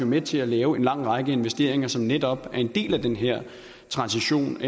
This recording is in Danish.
med til at lave en lang række investeringer som netop er en del af den her transition